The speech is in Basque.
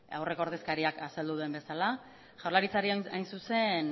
aurreko ordezkariak azaldu duen bezala jaurlaritzari hain zuzen